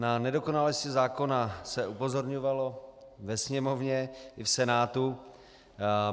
Na nedokonalosti zákona se upozorňovalo ve Sněmovně i v Senátu.